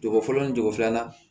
Jogo fɔlɔ ni jogo filanan